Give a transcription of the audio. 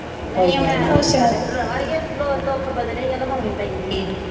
ਲੈ ਅੜੀਏ ਦੁੱਖ ਬਦਲੇ ਆ ਲਵਾਉਣੀ ਪੈਂਦੀ ਆ